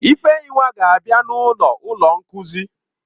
Ifeyinwa ga-abia n'ọnụ ụlọ nkuzi.